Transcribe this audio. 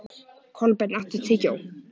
Kolbeinn, áttu tyggjó?